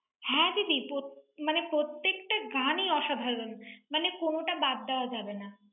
হ্যাঁ, দিদি, প্রত~, মানে প্রত্যেকটা গানই অসাধারণ। মানে কোনটা বাদ দেওয়া যাবে না।